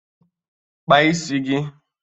Kpaa isi gị!